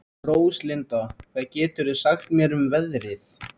Róslinda, hvað geturðu sagt mér um veðrið?